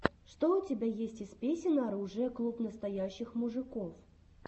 что у тебя есть из песен оружия клуб настоящих мужиков